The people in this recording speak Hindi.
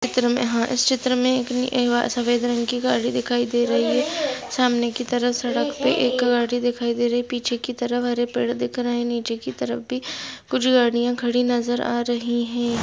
चित्र मे अह चित्र में एक नि ए-अह- सफ़ेद रंग की गाड़ी दिखाई दे रही है सामने की तरफ पे एक गाड़ी दिखाई दे रही है पीछे की तरफ हरे पेड़ दिख रहे है नीचे की तरफ भी कुछ गड़िया खड़ी नजर आ रही है।